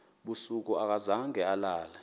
busuku akazange alale